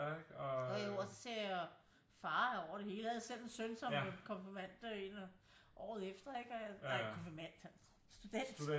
Og jeg jo også ser farer over det hele ikke jeg havde selv en søn som blev konfirmand året efter ikke nej konfirmand student